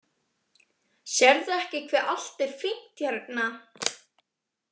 Sérðu ekki hve allt er fínt hérna?